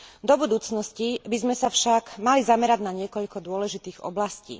Do budúcnosti by sme sa však mali zamerať na niekoľko dôležitých oblastí.